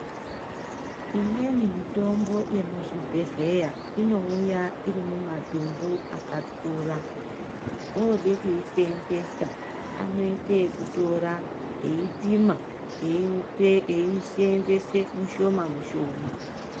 Imweni mitombo yemuzvibhedhleya inouya iri mumadumbu akakura oode kuisenzesa anoite ekutora eipima eisenzesa mushoma mushoma.